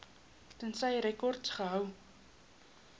tensy rekords gehou